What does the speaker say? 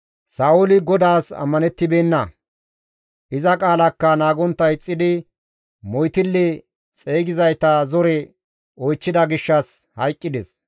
Sa7ooli GODAAS ammanettibeenna; iza qaalaakka naagontta ixxidi moytille xeygizayta zore oychchida gishshas hayqqides.